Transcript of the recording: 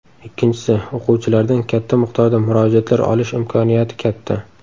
Ikkinchisi – o‘quvchilardan katta miqdorda murojaatlar olish imkoniyati katta.